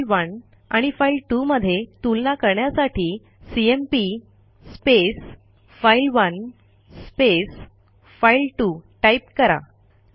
file one आणि file two मध्ये तुलना करण्यासाठी सीएमपी फाइल1 फाइल2 टाईप करा